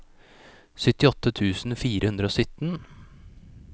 syttiåtte tusen fire hundre og sytten